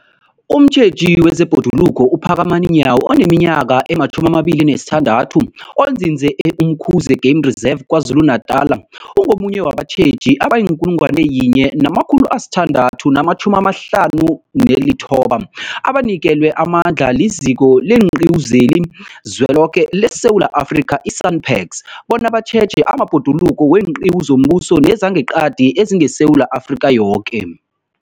Umtjheji wezeBhoduluko uPhakamani Nyawo oneminyaka ema-26, onzinze e-Umkhuze Game Reserve KwaZulu-Natala, ungomunye wabatjheji abayi-1 659 abanikelwe amandla liZiko leenQiwu zeliZweloke leSewula Afrika, i-SANParks, bona batjheje amabhoduluko weenqiwu zombuso nezangeqadi ezingeSewula Afrika yoke.